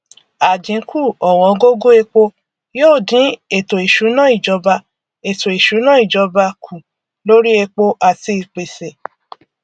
àdínkù ọwọngógó epo yóò dín ètò ìṣúná ìjọba ètò ìṣúná ìjọba kù lóri epo àti ìpèsè